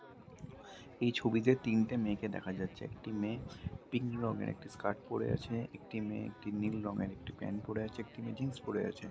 এই ছবিতে তিনটে মেয়েকে দেখা যাচ্ছে। একটি মেয়ে পিং রঙের একটি স্কার্ট পড়ে আছে। একটি মেয়ে একটি নীল রঙের একটি প্যান্ট পড়ে আছে। একটি মেয়ে জিন্স পড়ে আছে।